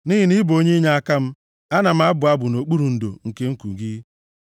Nʼihi na ị bụ onye inyeaka m, ana m abụ abụ nʼokpuru ndo nke nku gị.